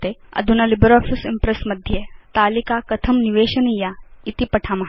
अधुना LibreOffice Impress मध्ये तालिका कथं निवेशनीया इति पठाम